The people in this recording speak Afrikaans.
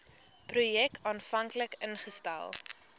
projek aanvanklik ingestel